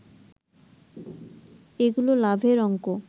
এগুলোর লাভের অঙ্ক